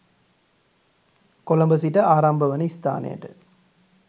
කොළඹ සිට ආරම්භ වන ස්ථානයට